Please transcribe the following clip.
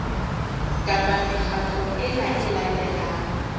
kapa mekgatlo ena e latelang